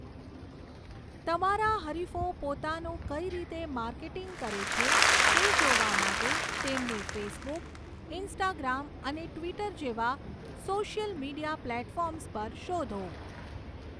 તમારા હરિફો પોતાનું કઈ રીતે માર્કેટિંગ કરે છે તે જોવા માટે તેમને ફેસબુક, ઇન્સ્ટાગ્રામ અને ટ્વિટર જેવા સોશિયલ મીડિયા પ્લેટફોર્મ્સ પર શોધો.